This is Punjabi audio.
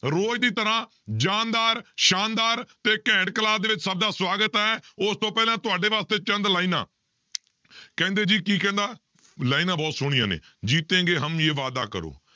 ਰੋਜ਼ ਦੀ ਤਰ੍ਹਾਂ ਜ਼ਾਨਦਾਰ, ਸ਼ਾਨਦਾਰ ਤੇ ਘੈਂਟ class ਦੇ ਵਿੱਚ ਸਭ ਦਾ ਸਵਾਗਤ ਹੈ, ਉਸਤੋਂ ਪਹਿਲਾਂ ਤੁਹਾਡੇ ਵਾਸਤੇ ਚੰਦ ਲਾਇਨਾਂ ਕਹਿੰਦੇ ਜੀ ਕੀ ਕਹਿੰਦਾ ਲਾਇਨਾਂ ਬਹੁਤ ਸੋਹਣੀਆਂ ਨੇ ਜੀਤੇਂਗੇ ਹਮ ਯੇ ਵਾਦਾ ਕਰੋ